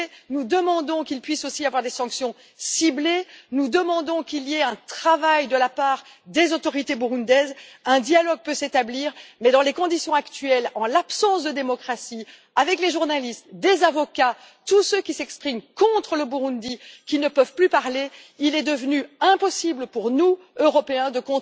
Nous demandons qu'il puisse aussi y avoir des sanctions ciblées et nous demandons qu'il y ait un travail de la part des autorités burundaises. Un dialogue pourrait s'établir, mais dans les conditions actuelles, en l'absence de démocratie, compte tenu du fait que des journalistes, des avocats et tous ceux qui s'expriment contre le Burundi ne peuvent plus parler, il est devenu impossible pour nous, Européens,